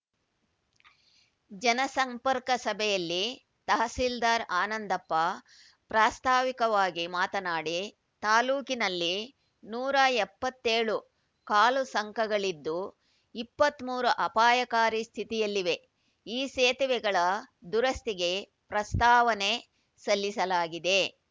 ಜನಸಂಪರ್ಕ ಸಭೆಯಲ್ಲಿ ತಹಸೀಲ್ದಾರ್‌ ಆನಂದಪ್ಪ ಪ್ರಾಸ್ತಾವಿಕವಾಗಿ ಮಾತನಾಡಿ ತಾಲೂಕಿನಲ್ಲಿ ನೂರ ಎಪ್ಪತ್ತ್ ಏಳು ಕಾಲುಸಂಕಗಳಿದ್ದು ಇಪ್ಪತ್ತ್ ಮೂರು ಅಪಾಯಕಾರಿ ಸ್ಥಿತಿಯಲ್ಲಿವೆ ಈ ಸೇತುವೆಗಳ ದುರಸ್ತಿಗೆ ಪ್ರಸ್ತಾವನೆ ಸಲ್ಲಿಸಲಾಗಿದೆ